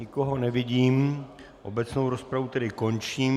Nikoho nevidím, obecnou rozpravu tedy končím.